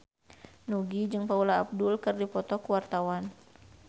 Nugie jeung Paula Abdul keur dipoto ku wartawan